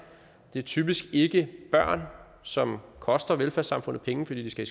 det er typisk ikke børn som koster velfærdssamfundet penge fordi de skal